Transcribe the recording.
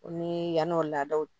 O ni yann'o laadaw